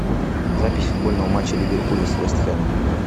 запись футбольного матча ливерпуля с вест хэмом